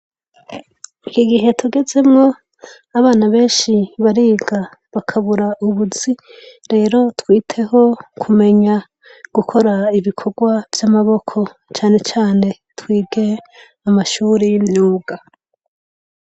Igihe tugezemwo Abana benshi biga bakabura ubuzi, lero twiteho kumenya gukora ibikorwa vyamaboko cane cane twige amashure yimyuga.